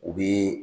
U bi